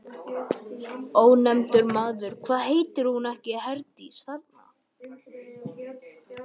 Ónefndur maður: Hvað heitir hún ekki Herdís, þarna?